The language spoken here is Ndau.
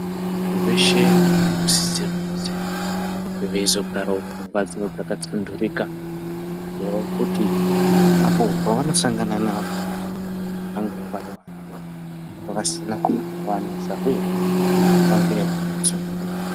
Vanhu veshe vanosise kunge veizogarawo mumbatso dzakatsunhurika kuitirawo kuti apo pevanosangana nevamweni vanenge vari vanhu vasina zvinovanesa uyehe vange vakatsunhurika.